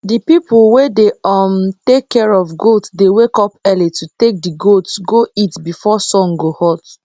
d people wey dey um take care of goat dey wake up early to take d goats go eat before sun go hot